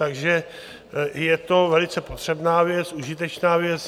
Takže je to velice potřebná věc, užitečná věc.